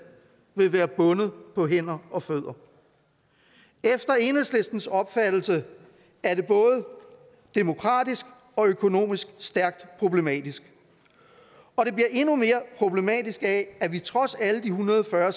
vil være bundet på hænder og fødder efter enhedslistens opfattelse er det både demokratisk og økonomisk stærkt problematisk og det bliver endnu mere problematisk af at vi trods alle de en hundrede og fyrre